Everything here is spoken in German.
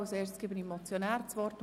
Zuerst hat der Motionär das Wort.